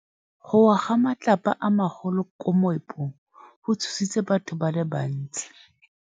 Go wa ga matlapa a magolo ko moepong go tshositse batho ba le bantsi.